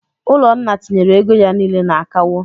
Ụlọnna tinyere ego ya niile na akawo.